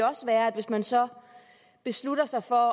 også være at hvis man så beslutter sig for